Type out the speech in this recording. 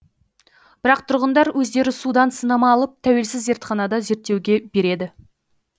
бірақ тұрғындар өздері судан сынама алып тәуелсіз зертханада зерттеуге береді